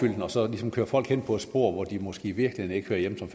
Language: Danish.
den og så ligesom køre folk hen i et spor hvor de måske i virkeligheden